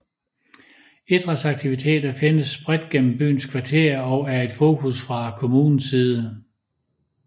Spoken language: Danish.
Idrætsaktiviteter findes bredt gennem byens kvarterer og er et fokus fra kommunens side